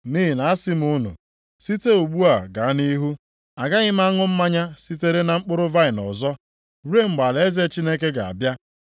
Nʼihi na asị m unu, site ugbu a ga nʼihu, agaghị m aṅụ mmanya sitere na mkpụrụ vaịnị ọzọ, ruo mgbe alaeze Chineke ga-abịa.”